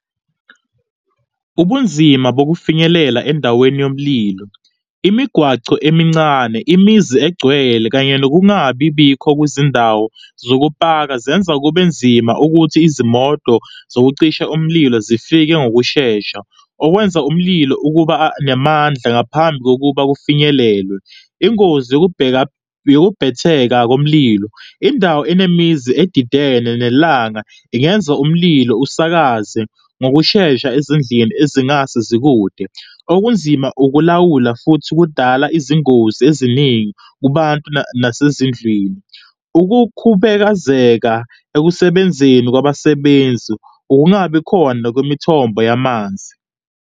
Ubunzima bokufinyelele endaweni yomlilo, imigwaco emincane, imizi egcwele kanye nokungabibikho kwezindawo zokupaka, zenza kube nzima ukuthi izimoto zokucisha umlilo zifike ngokushesha, okwenza umlilo ukubanamandla ngaphambi kokuba kufinyelelwe ingozi yokubheka, yokubhetheka komlilo. Indawo enemizi adidene nelanga ingenza umlilo usakaze ngokushesha ezindlini ezingasezikude, okunzima ukulawula futhi kudala izingozi eziningi kubantu nasezindlwini. Ukukhubekazeka ekusebenzeni kwabasebenzi ukungabi khona kwemithombo yamanzi.